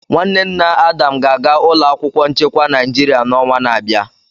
Nwanne nna Adam ga-aga ụlọ akwụkwọ nchekwa Naịjirịa n'ọnwa na-abịa.